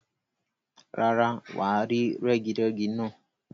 Rárá, wà á rí rẹ́girẹ́gi náà.